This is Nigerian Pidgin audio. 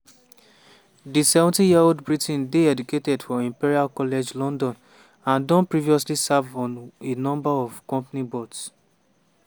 di 70-year-old briton dey educated for imperial college london and don previously serve on a number of company boards.